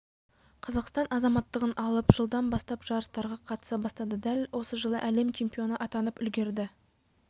қазақстан азаматтығын алып жылдан бастап жарыстарға қатыса бастады дәл осы жылы әлем чемпионы атанып үлгерді